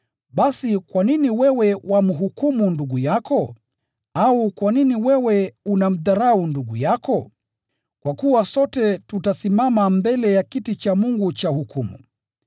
Basi kwa nini wewe wamhukumu ndugu yako? Au kwa nini wewe unamdharau ndugu yako? Kwa kuwa sote tutasimama mbele ya kiti cha Mungu cha hukumu.